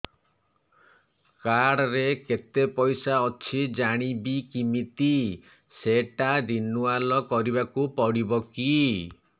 card ରେ କେତେ ପଇସା ଅଛି ଜାଣିବି କିମିତି ସେଟା ରିନୁଆଲ କରିବାକୁ ପଡ଼ିବ କି